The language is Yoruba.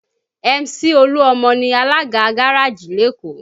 Mc olu-omo ni alága gárájì lékòó